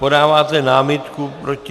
Podáváte námitku proti...